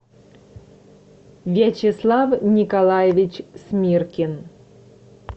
вячеслав николаевич смиркин